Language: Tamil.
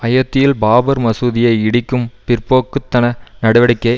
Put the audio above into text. அயோத்தியில் பாபர் மசூதியை இடிக்கும் பிற்போக்கு தன நடவடிக்கை